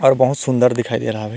और बहुत सुंदर दिखाई दे रहा है।